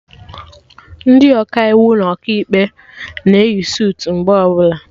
Ndị Ọkaiwu na Ọkaikpe na eyi sutu mgbe ọbụla